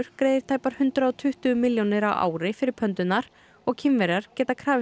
greiðir tæpar hundrað og tuttugu milljónir á ári fyrir og Kínverjar geta krafist